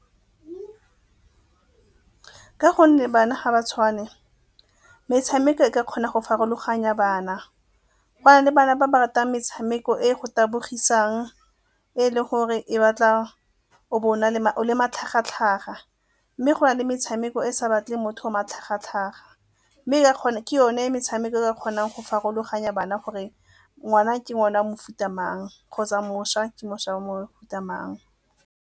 Ka gonne bana ga ba tshwane, metshameko e ka kgona go farologanya bana. Go na le bana ba ba ratang metshameko e go tabogisang, e e le gore e batla o le matlhagatlhaga mme go na le metshameko e e sa batleng motho matlhagatlhaga. Mme ke yone metshameko e e ka kgonang go farologanya bana gore ngwana ke ngwana a mofuta mang kgotsa mošwa ke mošwa wa mofuta mang.